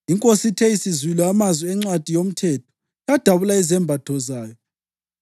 Inkosi ithe isizwile amazwi eNcwadi yoMthetho, yadabula izembatho zayo.